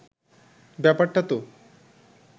ব্যাপারটা তো